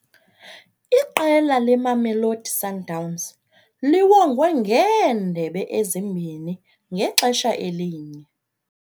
Iqela leMamelodi Sundowns liwongwe ngeendebe ezimbini ngexesha elinye.